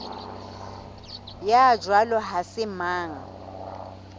ya jwalo ha se mang